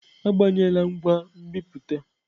Agbanyela ngwa nbipute!